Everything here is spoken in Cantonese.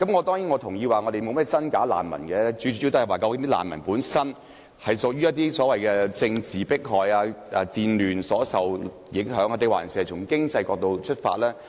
當然，我同意難民沒有甚麼真假之分，最主要是視乎他們是受到政治迫害、戰亂影響，還是從經濟角度出發。